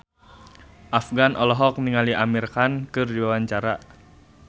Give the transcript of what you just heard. Afgan olohok ningali Amir Khan keur diwawancara